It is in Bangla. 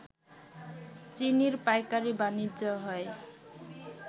চিনির পাইকারি বাণিজ্য হয়